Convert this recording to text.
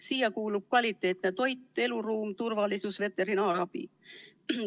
Nende vajaduste hulgas on kvaliteetne toit, eluruum, turvalisus, veterinaarabi.